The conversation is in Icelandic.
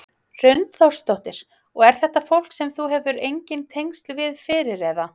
Hrund Þórsdóttir: Og er þetta fólk sem þú hefur engin tengsl við fyrir eða?